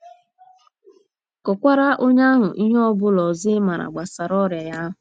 Kọkwaara onye ahụ ihe ọ bụla ọzọ ị ma gbasara ọrịa ya ahụ.